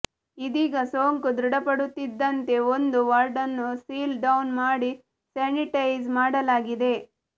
ಇದೀಗ ಸೋಂಕು ದೃಢಪಡುತ್ತಿದ್ದಂತೆ ಒಂದು ವಾರ್ಡ್ ನ್ನು ಸೀಲ್ ಡೌನ್ ಮಾಡಿ ಸ್ಯಾನಿಟೈಸ್ ಮಾಡಲಾಗಿದೆ